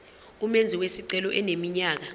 umenzi wesicelo eneminyaka